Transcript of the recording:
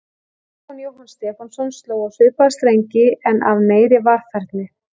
Stefán Jóhann Stefánsson sló á svipaða strengi en af meiri varfærni.